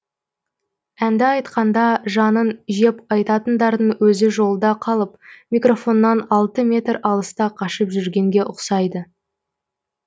әнді айтқанда жанын жеп айтатындардың өзі жолда қалып микрофоннан алты метр алыста қашып жүргенге ұқсайды